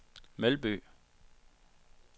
Melby